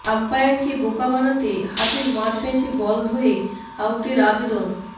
আম্পায়ারকে বোকা বানাতে হাতের মারপ্যাঁচে বল ধরে আউটের আবেদন